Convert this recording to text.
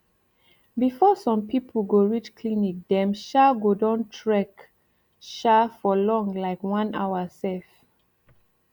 before sum pipu go reach clinic dem um go don trek um for long like one hour sef